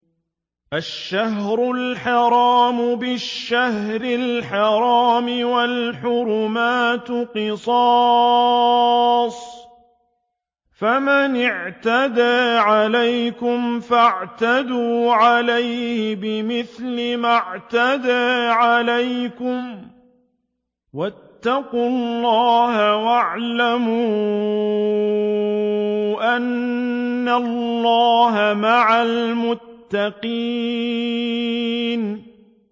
الشَّهْرُ الْحَرَامُ بِالشَّهْرِ الْحَرَامِ وَالْحُرُمَاتُ قِصَاصٌ ۚ فَمَنِ اعْتَدَىٰ عَلَيْكُمْ فَاعْتَدُوا عَلَيْهِ بِمِثْلِ مَا اعْتَدَىٰ عَلَيْكُمْ ۚ وَاتَّقُوا اللَّهَ وَاعْلَمُوا أَنَّ اللَّهَ مَعَ الْمُتَّقِينَ